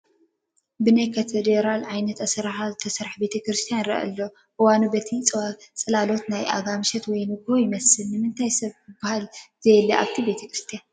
ብናይ ካቴድራል ዓይነት ኣሰራርሓ ዝተሰርሐ ቤተ ክርስትያን ይረአ ኣሎ፡፡ እዋኑ በቲ ፅላሎት ናይ ኣጋምሸት ወይ ንጎሆ ይመስል፡፡ ንምንታይ ሰብ ዝባሃል ዘየለ ኣብቲ ቤተ ክርስትያን?